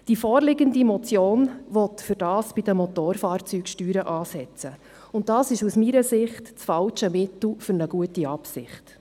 Die vorliegende Motion will dafür bei den Motorfahrzeugsteuern ansetzen, und das ist aus meiner Sicht das falsche Mittel für eine gute Absicht.